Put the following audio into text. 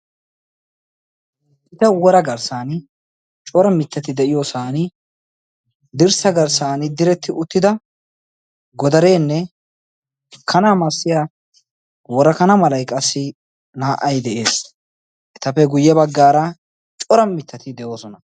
iita woraa garssan cora mittati de'iyoosan dirssa garssan diretti uttida godareenne kana massatiya worakana malay qassi naa"ay de'es etappe guyye baggaara cora mittati de'oosona